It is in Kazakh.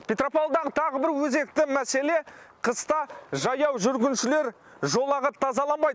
петропавлдағы тағы бір өзекті мәселе қыста жаяу жүргіншілер жолағы тазаланбайды